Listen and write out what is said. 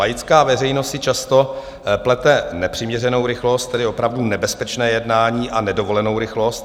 Laická veřejnost si často plete nepřiměřenou rychlost, tedy opravdu nebezpečné jednání, a nedovolenou rychlost.